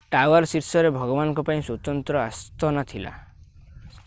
tower ଶୀର୍ଷରେ ଭଗବାନଙ୍କ ପାଇଁ ସ୍ୱତନ୍ତ୍ର ଆସ୍ଥାନ ଥିଲା